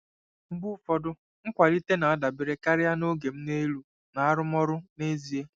Mgbe ụfọdụ, nkwalite na-adabere karịa na “oga m n'elu” na arụmọrụ n'ezie.